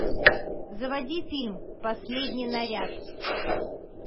заводи фильм последний наряд